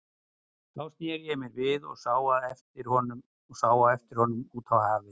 Þá sneri ég mér við og sá á eftir honum út á hafið.